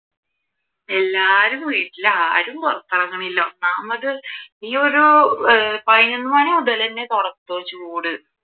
എല്ലാരും വീട്ടീലാ ആരും പുറത്തിറങ്ങണില്ല ഒന്നാമത് ഈ ഒരു ഏർ പതിനൊന്ന് മണിമുതൽ തന്നെ തുടങ്ങും ചൂട്